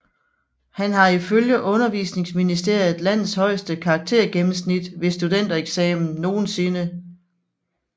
Han har ifølge Undervisningsministeriet landets højeste karaktergennemsnit ved studentereksamen nogensinde